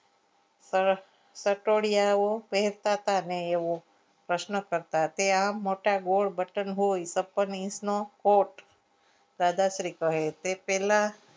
તરત સટોડીયાઓ પહેરતા હતા ને એવું પ્રશ્ન કરતાં તે આમ મોટા ગોળ વતન ગોળ છપ્પન inch નો કોડ દાદા શ્રી કહે તે પહેલા